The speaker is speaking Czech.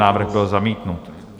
Návrh byl zamítnut.